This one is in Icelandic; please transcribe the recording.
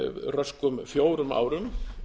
röskum fjórum árum